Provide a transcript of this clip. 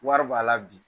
Wari b'a la bi